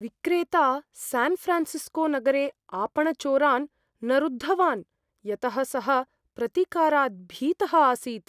विक्रेता स्यान् फ़्रान्सिस्कोनगरे आपणचोरान् न रुद्धवान्, यतः सः प्रतिकारात् भीतः आसीत्।